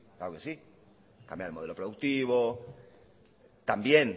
claro que si cambiar el modelo productivo también